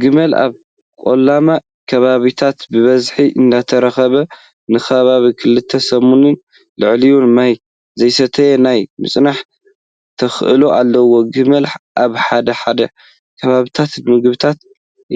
ግመል ኣብ ቆላማ ከባቢታት በበዝሒ እንትርከቡ ንከባቢ ክልተ ሰሙንን ልዕሊኡን ማይ ዘይሰተየ ናይ ምፅናሕ ተኽእሎ ኣለዎም። ግመል ኣብ ሓደ ሓደ ከባቢታት ንምግብነት